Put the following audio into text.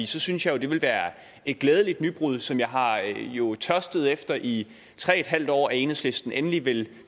så synes jeg jo det ville være et glædeligt nybrud som jeg har tørstet efter i tre en halv år altså at enhedslisten endelig vil